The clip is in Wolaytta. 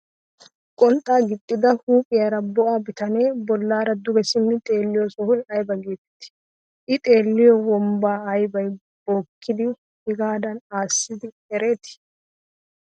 Qonxxaa giixxida huuphyaara bo'a bitanee bollaara duge simmidi xeelliyoo sohoy aybaa getettii? i xeelliyoo wonbbaa aybay bookkidi hegaadan aaside eretii?